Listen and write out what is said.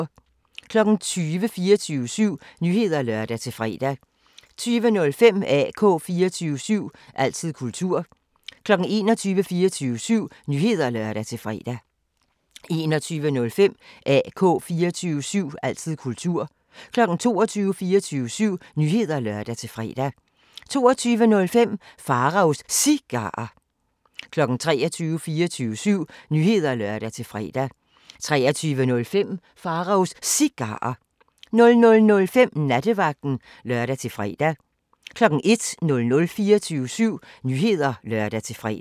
20:00: 24syv Nyheder (lør-fre) 20:05: AK 24syv – altid kultur 21:00: 24syv Nyheder (lør-fre) 21:05: AK 24syv – altid kultur 22:00: 24syv Nyheder (lør-fre) 22:05: Pharaos Cigarer 23:00: 24syv Nyheder (lør-fre) 23:05: Pharaos Cigarer 00:05: Nattevagten (lør-fre) 01:00: 24syv Nyheder (lør-fre)